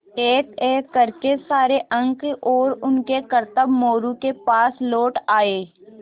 एकएक कर के सारे अंक और उनके करतब मोरू के पास लौट आये